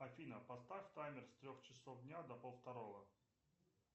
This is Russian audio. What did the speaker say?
афина поставь таймер с трех часов дня до пол второго